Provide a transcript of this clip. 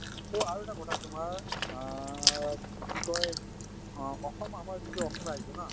so আৰু এটা কথা তোমাৰ অ কি কয় অ অসম, আমাৰ যিটো অসম ৰাজ্য ন